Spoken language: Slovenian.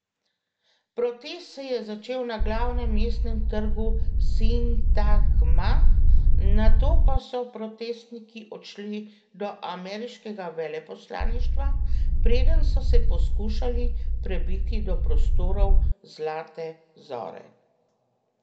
Protest se je začel na glavnem mestnem trgu Sintagma, nato pa so protestniki odšli do ameriškega veleposlaništva, preden so se poskušali prebiti do prostorov Zlate zore.